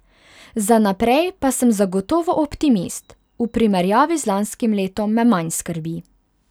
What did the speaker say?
Za naprej pa sem zagotovo optimist, v primerjavi z lanskim letom me manj skrbi.